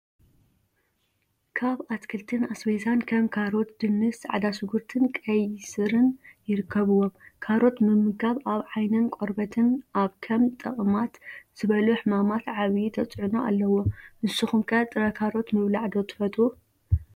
ካብ ኣትክልትን ኣስቤዛን ከም ካሮት፣ ድንች፣ ፃዕዳ ሽጉርትን ቀይ ስርን ይርከብዎም፡፡ ካሮት ምምጋብ ኣብ ዓይንን ቆርበትን ኣብ ከም ጠቕማት ዝበሉ ሕማማት ዓብይ ተፅዕኖ ኣለዎ፡፡ ንስኹም ከ ጥረ ካሮት ምብላዕ ዶ ትፈትው?